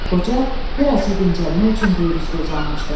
Qoca birazca dincəlmək üçün böyür üstə uzanmışdı.